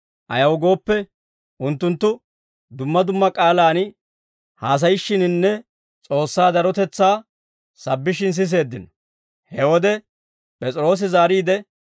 Ayaw gooppe, unttunttu dumma dumma k'aalaan haasayishshiininne S'oossaa darotetsaa sabbishshin siseeddino. He wode P'es'iroosi zaariide,